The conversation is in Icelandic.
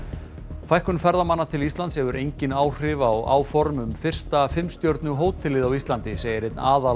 fækkun ferðamanna til Íslands hefur engin áhrif á áform um fyrsta fimm stjörnu hótelið á Íslandi segir einn